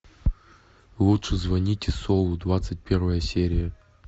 лучше звоните солу двадцать первая серия